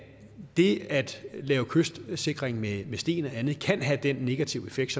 det at lave kystsikring med sten eller andet kan have den negative effekt